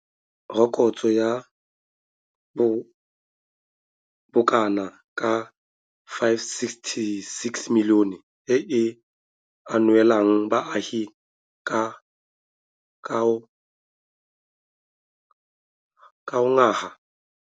Rokotso ya bokana ka R576 milione e e ungwelang baagi ka ngwaga.